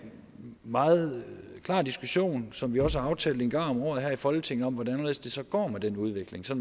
meget klar diskussion som vi også har aftalt en gang om året her i folketinget om hvordan og hvorledes det så går med den udvikling så